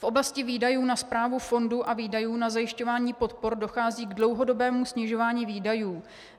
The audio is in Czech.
V oblasti výdajů na správu fondu a výdajů na zajišťování podpor dochází k dlouhodobému snižování výdajů.